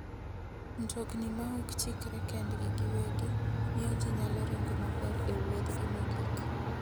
Mtokni ma ok chikre kendgi giwegi miyo ji nyalo ringo maber e wuodhgi mogik.